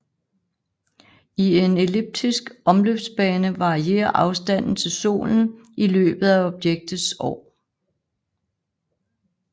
I en elliptisk omløbsbane varierer afstanden til Solen i løbet af objektets år